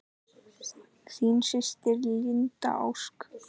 Þín systir, Linda Ósk.